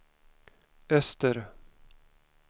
öster